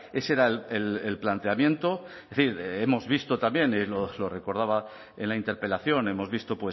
ese era el planteamiento es decir hemos visto también y lo recordaba en la interpelación hemos visto